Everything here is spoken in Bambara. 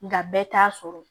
Nga bɛɛ t'a sɔrɔ